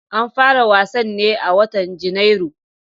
An fara wasan ne a watan Janairu